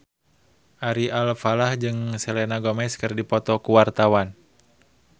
Ari Alfalah jeung Selena Gomez keur dipoto ku wartawan